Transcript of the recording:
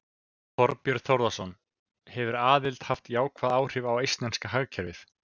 Þorbjörn Þórðarson: Hefur aðildin haft jákvæð áhrif á eistneska hagkerfið?